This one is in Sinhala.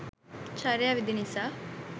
චර්යා විදි නිසා